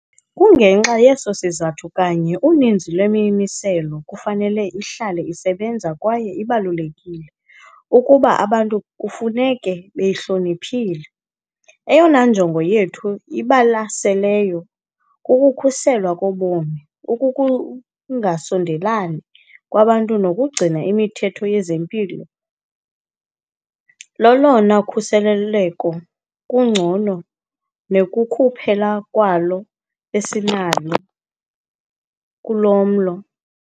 Kungenxa yeso sizathu kanye uninzi lwemimiselo kufanele ihlale isebenza kwaye kubalulekile ukuba abantu kufuneka beyihloniphile. Eyona njongo yethu ibalaseleyo kukukhuselwa kobomi. Ukungasondelelani kwabantu nokugcina imithetho yezempilo lolona khuseleko lungcono nekukuphela kwalo esinalo kulo mlo.